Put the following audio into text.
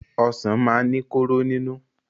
Ọsàn máa ń ní kóró nínú.